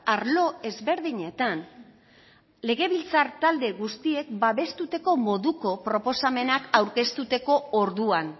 arlo ezberdinetan legebiltzar talde guztiek babesteko moduko proposamenak aurkezteko orduan